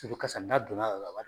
Toto kasa n'a donna a yɔrɔ la a b'a